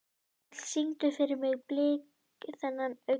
Karl, syngdu fyrir mig „Blik þinna augna“.